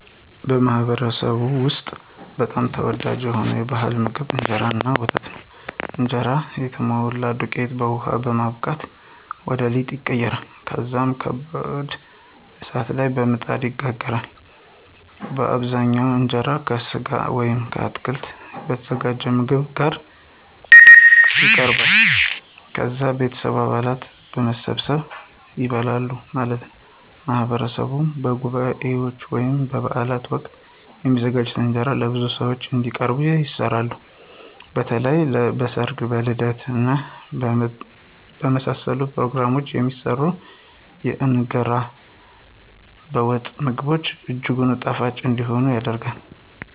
በማኅበረሰብዎ ውስጥ በጣም ተወዳጅ የሆነው ባሕላዊ ምግብ እንጀራ እና ወተት ነው። እንጀራ የተሞላ ዱቄትን በውሃ በማቡካት ወደ ሊጥ ይቀየራል። ከዚያም በከባድ እሳት ላይ በምጣድ ይጋገራል። በአብዛኛው እንጀራው ከሥጋ ወይም ከአትክልት የተዘጋጀ ምግብ ጋር ይቀርባል። ከዛ የቤተሰብ አባላት በመሰባሰብ ይበላል ማለት ነው። በማህበረሰብ በጉባኤዎች ወይም በበዓላት ወቅት የሚዘጋጁ እንጀራዎች ለብዙ ሰዎች እንዲቀርቡ ይሰራሉ። በተለይም በ ሰርግ ,በልደት እና በመሳሰሉት ፕሮግራሞች የሚሰራው የእንገራ በወጥ ምግብ እጅጉን ጣፋጭ እንዲሆን ይደረጋል።